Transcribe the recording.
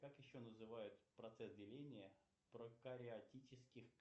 как еще называют процесс деления прокариотических